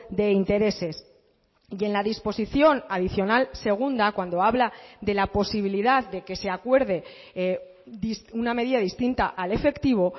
de intereses y en la disposición adicional segunda cuando habla de la posibilidad de que se acuerde una medida distinta al efectivo